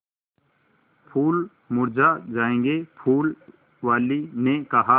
फूल मुरझा जायेंगे फूल वाली ने कहा